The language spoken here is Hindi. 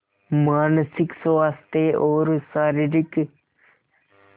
मानसिक स्वास्थ्य और शारीरिक स्